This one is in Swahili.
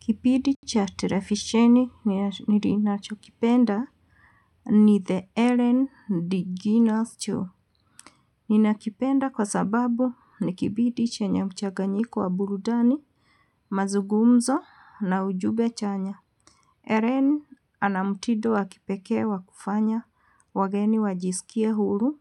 Kipindi cha televisheni nilinachokipenda. Ni the Eren D. Guinness Cho. Ninakipenda kwa sababu ni kipindi chenye mchanganyiko wa burudani, mazugumzo na ujumbe chanya. Eren ana mtindo wakipee wa kufanya wageni wajisikie huru